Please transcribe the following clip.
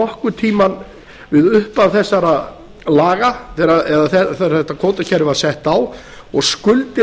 nokkur tíma við upphaf þegar laga eða þegar þetta kvótakerfi var sett á og skuldir